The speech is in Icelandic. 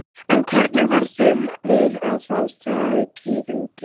En hvernig varð þeim við að fá þau tíðindi?